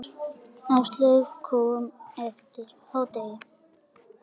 Áslaug kom eftir hádegi.